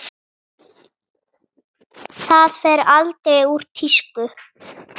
Það fer aldrei úr tísku.